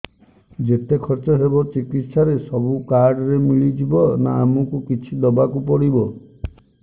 ଯେତେ ଖର୍ଚ ହେବ ଚିକିତ୍ସା ରେ ସବୁ କାର୍ଡ ରେ ମିଳିଯିବ ନା ଆମକୁ ବି କିଛି ଦବାକୁ ପଡିବ